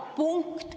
Punkt.